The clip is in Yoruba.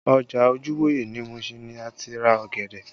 Ọjà Ojuwoye ní Mushin ni a ti ra ọ̀gẹ̀dẹ̀